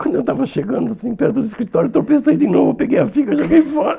Quando eu estava chegando assim perto do escritório, tropecei de novo, peguei a figa e joguei fora.